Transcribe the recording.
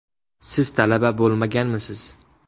Siz talaba bo‘lmaganmisiz?